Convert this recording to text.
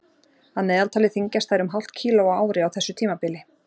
Að meðaltali þyngjast þær um hálft kíló á ári á þessu tímabili.